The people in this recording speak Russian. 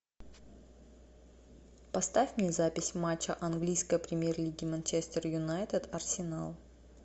поставь мне запись матча английской премьер лиги манчестер юнайтед арсенал